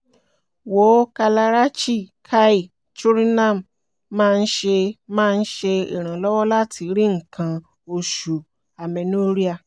wòó kalarachi kai choornam máa ń ṣe máa ń ṣe iranlọwọ láti rí nnkan oṣù - amenorrhea